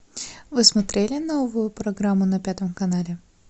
вы смотрели новую программу на пятом канале